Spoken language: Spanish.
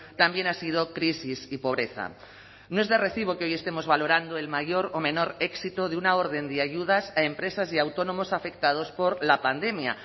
también ha sido crisis y pobreza no es de recibo que hoy estemos valorando el mayor o menor éxito de una orden de ayudas a empresas y autónomos afectados por la pandemia